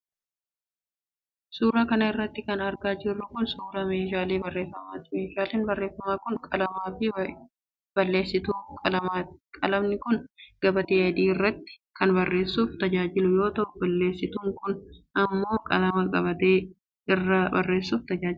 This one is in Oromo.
Suura kana irratti kan argaa jirru kun, suura meeshaalee barreeffamaati. Meeshaaleen barreeffamaa kun qalamaa fi bal'eessituu qalamaati. Qalamni kun gabatee adii irratti kan barreessuuf tajaajilu yoo ta'u, bal'eessitun kun immoo qalama gabatee irraa barreessuuf tajaajila.